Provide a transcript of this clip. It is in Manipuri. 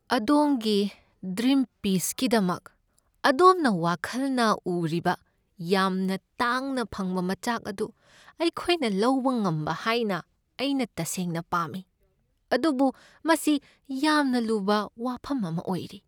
ꯑꯗꯣꯝꯒꯤ ꯗ꯭ꯔꯤꯝ ꯄꯤꯁꯀꯤꯗꯃꯛ ꯑꯗꯣꯝꯅ ꯋꯥꯈꯜꯅ ꯎꯔꯤꯕ ꯌꯥꯝꯅ ꯇꯥꯡꯅ ꯐꯪꯕ ꯃꯆꯥꯛ ꯑꯗꯨ ꯑꯩꯈꯣꯏꯅ ꯂꯧꯕ ꯉꯝꯕ ꯍꯥꯏꯅ ꯑꯩꯅ ꯇꯁꯦꯡꯅ ꯄꯥꯝꯃꯤ, ꯑꯗꯨꯕꯨ ꯃꯁꯤ ꯌꯥꯝꯅ ꯂꯨꯕ ꯋꯥꯐꯝ ꯑꯃ ꯑꯣꯏꯔꯤ꯫